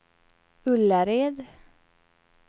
Ullared